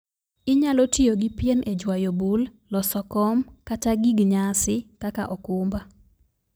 Inyalo tiyo gi pien e jwayo bul, loso kom, kata gig nyasi kaka okumba